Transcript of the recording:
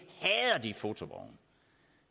fotovogne